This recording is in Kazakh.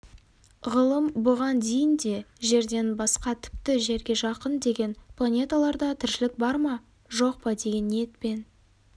ғылым бұған дейін де жерден басқа тіпті жерге жақын деген планеталарда тіршілік бар ма жоқ па деген ниетпен